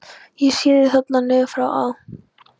Ég sé þig þarna niður frá: á